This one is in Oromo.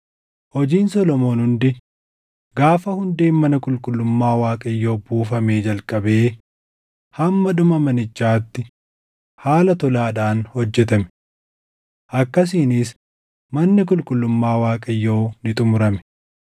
Hojiin Solomoon hundi gaafa hundeen mana qulqullummaa Waaqayyoo buufamee jalqabee hamma dhuma manichaatti haala tolaadhaan hojjetame. Akkasiinis manni qulqullummaa Waaqayyoo ni xumurame.